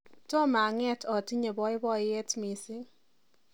tom ang'et otimye boiboiyet missing